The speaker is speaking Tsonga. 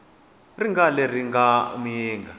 xi nga ri lexi mga